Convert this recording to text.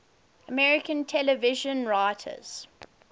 american television writers